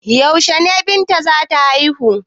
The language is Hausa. Yaushe ne Binta za ta haihu?